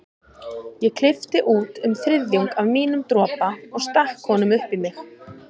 Ég klippti út um þriðjung af mínum dropa og stakk honum upp í mig.